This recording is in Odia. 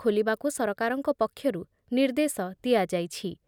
ଖୋଲିବାକୁ ସରକାରଙ୍କ ପକ୍ଷରୁ ନିର୍ଦ୍ଦେଶ ଦିଆଯାଇଛି।